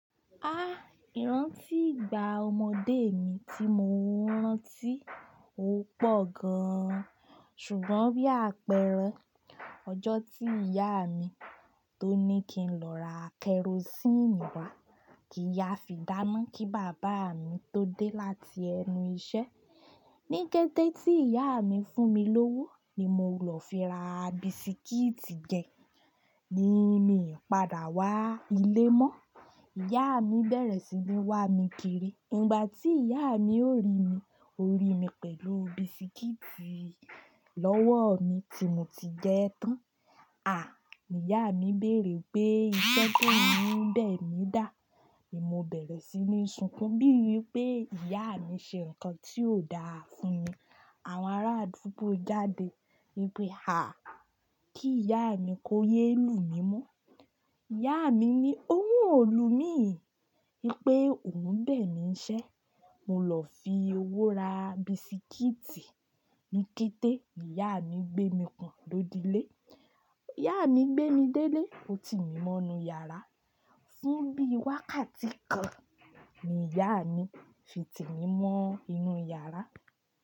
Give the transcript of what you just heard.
Á! Ìrántí ìgbà ọmọdé mi tí mo rántí ó pọ̀ gan-an. Ṣùgbọ́n bí àpẹẹrẹ ọjọ́ tí ìyá mi tó ní kí n lọ ra kerosíìnì wá, kí yas fi dáná kí bàbá mi tó dé láti ẹnu iṣẹ́. Ní kété tí ìyá mi fún mi lówó ni mo lọ fẹ́ ra bisikíìtì jẹ ní mi padà wá ilé mọ́. Ìyá mi bẹ̀rẹ̀ sí ní wá mi kiri. Ìgbà tí ìyá mi ò rí mi, ó rí mi pẹ̀lú bisikíìtì lọ́wọ́ mi tí mo ti jẹ tán. "À!" Ni ìyá mi béèrè pé iṣẹ́ tó ń bẹ̀ mí dà. Èmi ó bẹ̀rẹ̀ sí ní sunkún bíi wí pé ìyá mi ṣe nǹkan tí ò dáa fún mi. Àwọn ará àdúgbò jáde wí pé, "à! Kí ìyá mi kó yé lu mí mọ́." Ìyá mi ní, "óun ò lu mí" wí pé, "òun bẹ̀ mí ṣẹ́. Mo lọ fi owó ra bisikíìtì." Ní kété, ìyá mi gbé mi pọ̀n lọ́di lé. Ìyá mi gbé mi dé ilé ó ti mí mọ́ inú yàrá. Sún bí i wákàtí kan ni ìyá mi fi tì mí mọ́ inú yàrá.